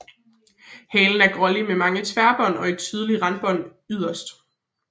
Halen er grålig med mange tværbånd og et tydeligt randbånd yderst